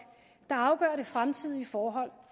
der afgør det fremtidige forhold